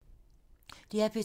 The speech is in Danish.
DR P2